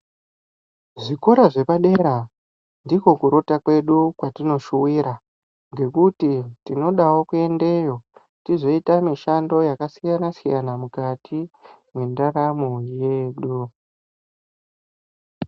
Zvikora zvepadera ndiko kurota kwedu kwatinoshuwira Ngekuti tinodavo kuendeyo tozoita mishando yakasiyana-siyana, mukati mendaramo yedu.